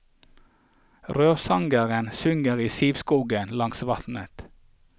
Rørsangeren synger i sivskogen langs vannet.